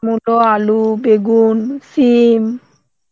মুলো, আলু, বেগুন, সিম